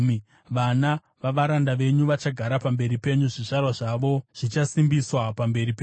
Vana vavaranda venyu vachagara pamberi penyu; zvizvarwa zvavo zvichasimbiswa pamberi penyu.”